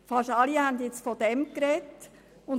Fast alle haben davon gesprochen.